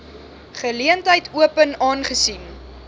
geleentheid open aangesien